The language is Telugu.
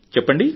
చెప్పండి